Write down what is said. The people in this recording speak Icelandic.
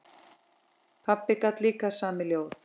Pabbi gat líka samið ljóð.